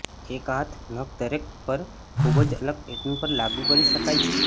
એક હાથ નખ દરેક પર ખૂબ જ અલગ પેટર્ન પર લાગુ કરી શકાય છે